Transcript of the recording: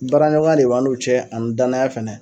Baaraɲɔgɔn de b'an n'u cɛ ani danaya fɛnɛ.